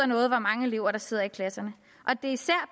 noget hvor mange elever der sidder i klasserne